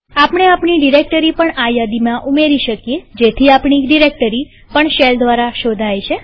આપણે આપણી ડિરેક્ટરી પણ આ યાદીમાં ઉમેરી શકીએ જેથી આપણી ડિરેક્ટરી પણ શેલ દ્વારા શોધાય છે